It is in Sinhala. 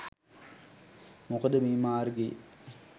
මොකද මේ මාර්ගයේ